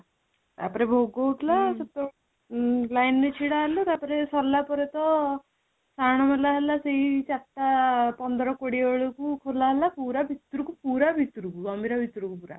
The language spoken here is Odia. ତାପରେ ଭୋଗ ହୋଉ ଥିଲା ସେଥିପାଇଁ line ରେ ଛିଡା ହେଲୁ ତାପରେ ସରିଲା ପରେ ତ ସାହାଣ ମେଳା ହେଲା ସେଇ ଚାରିଟା ପନ୍ଦର କୋଡିଏ ବେଳକୁ ଖୋଲା ହେଲା ପୁରା ଭିତରୁକୁ ପୁରା ଭିତରୁକୁ ଗମ୍ଭୀର ଭିତରୁକୁ ପୁରା